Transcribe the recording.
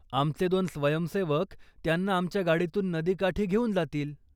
आमचे दोन स्वयंसेवक त्यांना आमच्या गाडीतून नदीकाठी घेऊन जातील.